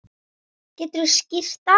Geturðu skýrt það?